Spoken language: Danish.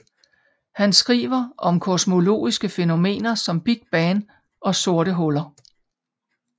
Han skriver om kosmologiske fænomener som Big Bang og sorte huller